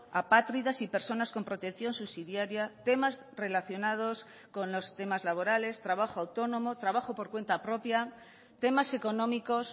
apátridas y personas con protección subsidiaria temas relacionados con los temas laborales trabajo autónomo trabajo por cuenta propia temas económicos